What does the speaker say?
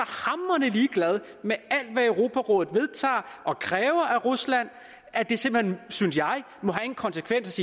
hamrende ligeglad med alt hvad europarådet vedtager og kræver af rusland at det simpelt hen synes jeg må have en konsekvens